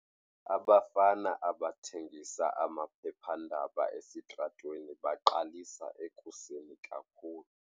Abafana abathengisa amaphephandaba esitratweni baqalisa ekuseni kakhulu.